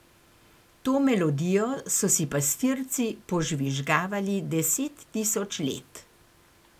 To melodijo so si pastirci požvižgavali deset tisoč let.